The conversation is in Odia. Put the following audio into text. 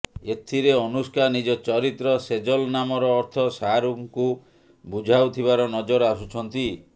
ଏଥିରେ ଅନୁଷ୍କା ନିଜ ଚରିତ୍ର ସେଜଲ ନାମର ଅର୍ଥ ଶାହରୁଖଙ୍କୁ ବୁଝାଉଥିବାର ନଜର ଆସୁଛନ୍ତି